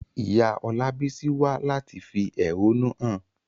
Ìyá Olabisi wá láti fi ẹ̀hónú hàn.